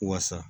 Wasa